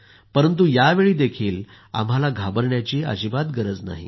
परंतु यावेळीही आम्हाला घाबरण्याची अजिबात गरज नाहि